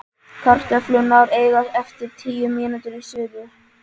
Kartöflurnar eiga eftir tíu mínútur í suðu.